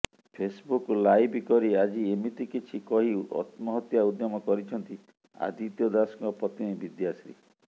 Facebook live କରି ଆଜି ଏମିତି କିଛି କହି ଅତ୍ମହତ୍ୟା ଉଦ୍ୟମ କରିଛନ୍ତି ଆଦିତ୍ୟ ଦାଶଙ୍କ ପତ୍ନୀ ବିଦ୍ୟାଶ୍ରୀ